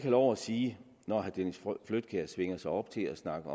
lov at sige når herre dennis flydtkjær svinger sig op til at snakke